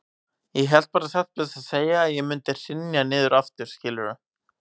Ég hélt bara satt best að segja að ég mundi hrynja niður aftur, skilurðu.